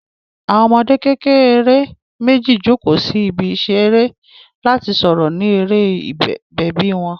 Àwọn ọmọdé kékeré méjì jókòó sí ibi ìṣeré láti sọ̀rọ̀ ní eré bèbí wọn.